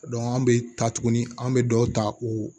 an bɛ taa tuguni an bɛ dɔw ta u